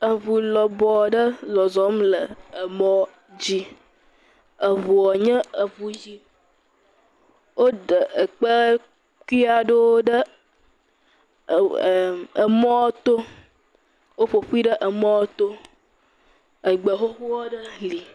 Eŋu lɔbɔ aɖe zɔzɔm le emɔ dzi. Eŋua nye eŋu ʋi. woɖe ekpekui aɖewo ɖe eŋ emm emɔ to. Woƒoƒui ɖe emƒ to. Egbe xoxo aɖe hã li.